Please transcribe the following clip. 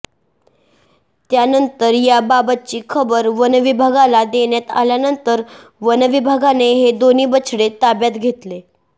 त्यानंतर याबाबतची खबर वन विभागाला देण्यात आल्यानंतर वन विभागाने हे दोन्ही बछडे ताब्यात घेतले